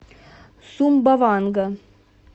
сумбаванга